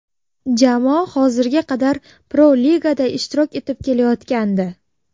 Jamoa hozirga qadar Pro-Ligada ishtirok etib kelayotgandi.